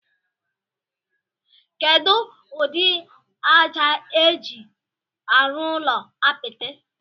Kedu udi aja eji arụ ụlọ apiti?